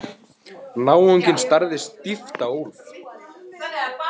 Náunginn starði stíft á Úlf.